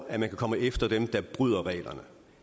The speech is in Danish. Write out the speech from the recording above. at man kan komme efter dem der bryder reglerne